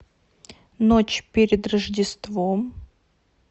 ночь перед рождеством